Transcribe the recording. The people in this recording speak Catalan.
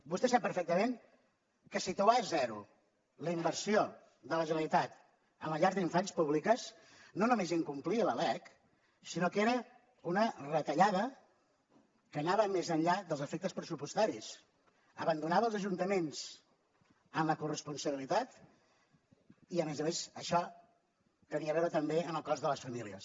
vostè sap perfectament que situar a zero la inversió de la generalitat en les llars d’infants públiques no només incomplia la lec sinó que era una retallada que anava més enllà dels efectes pressupostaris abandonava els ajuntaments en la corresponsabilitat i a més a més això tenia a veure també amb el cost a les famílies